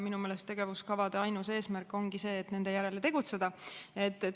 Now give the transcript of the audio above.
Minu meelest tegevuskavade ainus eesmärk ongi see, et nende järgi tegutsetaks.